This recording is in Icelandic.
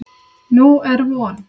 Nú er von.